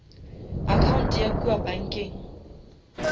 account ya kua bankeng